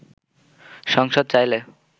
সংসদ চাইলে